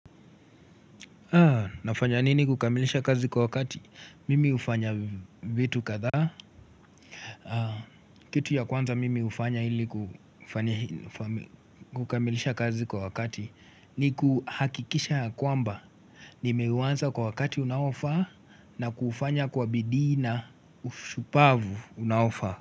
Nafanya nini kukamilisha kazi kwa wakati? Mimi ufanya vitu kadha Kitu ya kwanza mimi hufanya ili kufanihi faml kukamilisha kazi kwa wakati ni kuhakikisha ya kwamba, nimeuanza kwa wakati unaofaa na kufanya kwa bidiina ushupavu unaofaa.